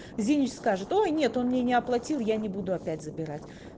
зинеч скажет ой нет он мне не оплатил я не буду опять забирать